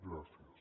gràcies